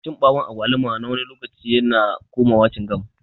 Cin bawun agwaluma nawani lokaci yana komawa cingam.